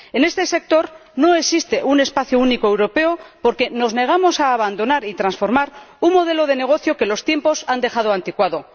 En este sector no existe un espacio único europeo porque nos negamos a abandonar y transformar un modelo de negocio que los tiempos han dejado anticuado.